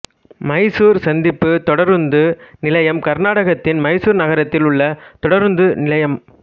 மைசூர் சந்திப்பு தொடருந்து நிலையம் கர்நாடகத்தின் மைசூர் நகரத்தில் உள்ள தொடருந்து நிலையம்